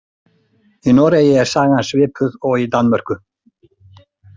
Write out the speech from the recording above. Í Noregi er sagan svipuð og í Danmörku.